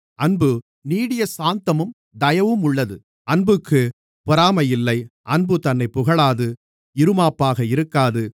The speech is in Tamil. அன்பு நீடிய சாந்தமும் தயவுமுள்ளது அன்புக்குப் பொறாமை இல்லை அன்பு தன்னைப் புகழாது இறுமாப்பாக இருக்காது